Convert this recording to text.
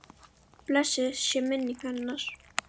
Blessuð sé minning hennar.